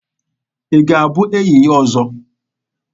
Ị ga-abụ enyi ya ọzọ?